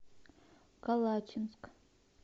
калачинск